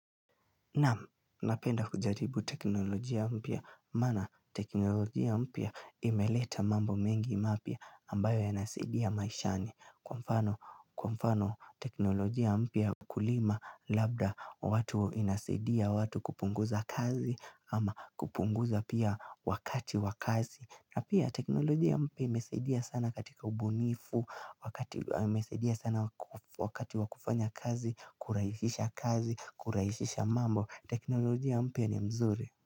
Napenda kujaribu teknolojia mpya maana teknolojia mpya imeleta mambo mengi mapya ambayo yanasaidia maishani kwa mfano Kwa mfano teknolojia mpya kulima labda watu inasadia watu kupunguza kazi ama kupunguza pia wakati wakazi na pia teknolojia mpya imesaidia sana katika ubunifu, wakati wakufanya kazi, kuraisisha kazi, kuraisisha mambo. Teknolojia mpya ni mzuri.